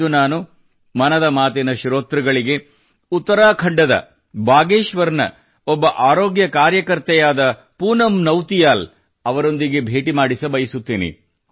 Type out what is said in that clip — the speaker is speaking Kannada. ಇಂದು ನಾನು ಮನದ ಮಾತಿನ ಶ್ರೋತೃಗಳಿಗೆ ಉತ್ತರಾಖಂಡದ ಬಾಗೇಶ್ವರ್ ನ ಒಬ್ಬ ಆರೋಗ್ಯ ಕಾರ್ಯಕರ್ತರಾದ ಪೂನಮ್ ನೌತಿಯಾಲ್ ಅವರೊಂದಿಗೆ ಭೇಟಿ ಮಾಡಿಸಬಯಸುತ್ತೇನೆ